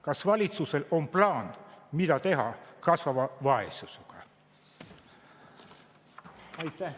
Kas valitsusel on plaan, mida teha kasvava vaesusega?